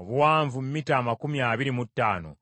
obuwanvu mita amakumi abiri mu ttaano.